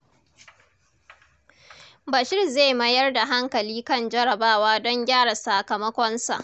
Bashir zai mayar da hankali kan jarrabawa don gyara sakamakonsa.